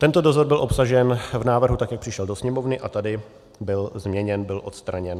Tento dozor byl obsažen v návrhu tak, jak přišel do Sněmovny, a tady byl změněn, byl odstraněn.